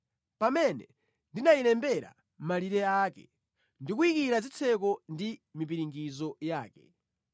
pamene ndinayilembera malire ake ndikuyikira zitseko ndi mipiringidzo yake.